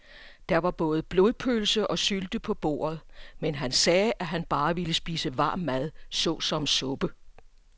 Der var både blodpølse og sylte på bordet, men han sagde, at han bare ville spise varm mad såsom suppe.